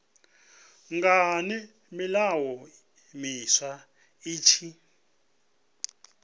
ngani milayo miswa i tshi